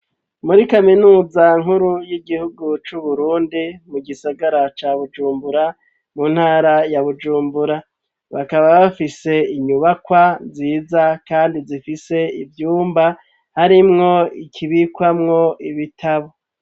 Muri kaminuza nkuru y'igihugu c'Uburundi mu gisagara ca Bujumbura mu ntara ya Bujumbura. Bakaba bafise inyubakwa nziza kandi zifise ivyumba harimwo ikibikwamwo ibitabo.